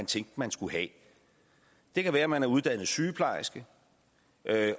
tænkt at man skulle have det kan være at man er uddannet sygeplejerske